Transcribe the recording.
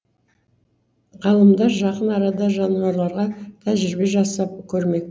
ғалымдар жақын арада жануарларға тәжірибе жасап көрмек